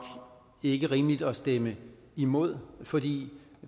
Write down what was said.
ikke rimeligt at stemme imod fordi